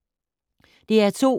DR P2